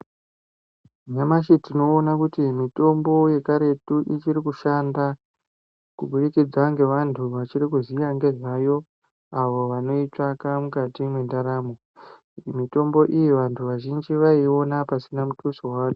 Nyamashi tinoona kuti mitombo yekaretu ichiri kushanda kubudikidza ngevantu vachiri kuziya ngezvayo avo vanoitsvaka mukati mwendaramo. Mitombo iyi vantuvazhinji vaiiona pasina mutuso.